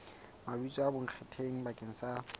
mabitso a bonkgetheng bakeng sa